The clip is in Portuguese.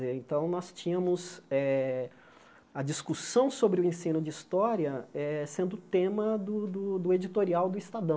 então, nós tínhamos eh a discussão sobre o ensino de história eh sendo tema do do do editorial do Estadão.